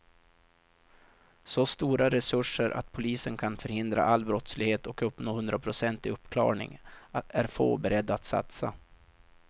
Så stora resurser att polisen kan förhindra all brottslighet och uppnå hundraprocentig uppklarning är få beredda att satsa.